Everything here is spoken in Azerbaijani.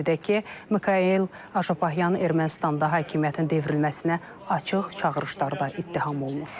Qeyd edək ki, Mikayıl Ajan Ermənistanda hakimiyyətin devrilməsinə açıq çağırışlarda ittiham olunur.